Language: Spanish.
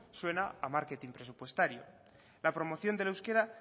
suena a marketing presupuestario la promoción del euskera